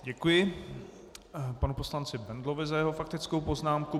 Děkuji panu poslanci Bendlovi za jeho faktickou poznámku.